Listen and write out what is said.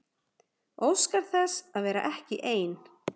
Óskar þess að vera ekki ein.